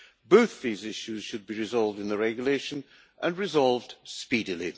Both these issues should be resolved in the regulation, and resolved speedily.